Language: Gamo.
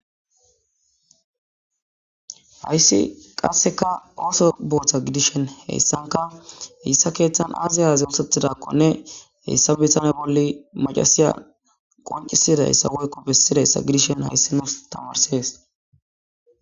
hayssi qasseka ooso booththa gidishen heyssanka heyssa keeththan aaziyaze osetidakkonne heyssa bisane bolli macasiya qoncisidayssa woykko bessidayssa gidishen hayssinos tamarsees